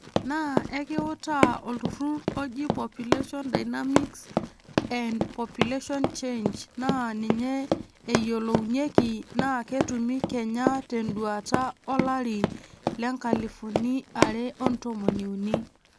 Naa ekiutaa olturrurr oji Population Dynamics and Population Change naa ninye eyiolounyeki naa ketumi kenya tenduaata olari le nkalifuni are otomoniuni.